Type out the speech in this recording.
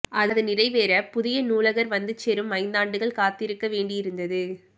அது நிறைவேற புதிய நூலகர் வந்து சேரும் ஐந்தாண்டுகள் காத்திருக்க வேண்டியிருந்தது